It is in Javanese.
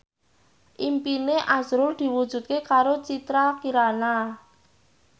impine azrul diwujudke karo Citra Kirana